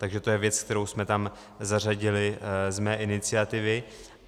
Takže to je věc, kterou jsme tam zařadili z mé iniciativy.